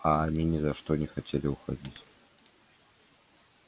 а они ни за что не хотели уходить